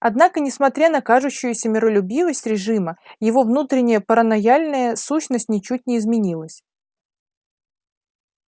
однако несмотря на кажущуюся миролюбивость режима его внутренняя паранойяльная сущность ничуть не изменилась